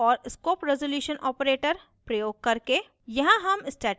class name और scope resolution operator प्रयोग करके